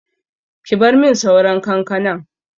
Ki bar min sauran kankanan!